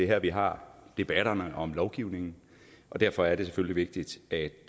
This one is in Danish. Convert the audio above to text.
her vi har debatterne om lovgivningen og derfor er det selvfølgelig vigtigt at